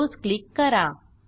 close click करा